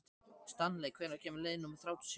Stanley, hvenær kemur leið númer þrjátíu og sjö?